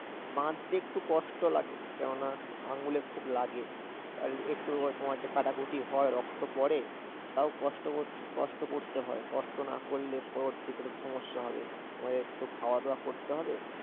বাঁধতে একটু কষ্ট লাগে, কেননা আঙুলে খুব লাগে। একটু কাটাকুটি হয়, রক্ত পড়ে। তাও কষ্ট করতে হয়, কষ্ট না করলে পরবর্তিতে সমস্যা হবে, আমাদের তো খাওয়াদাওয়া করতে হবে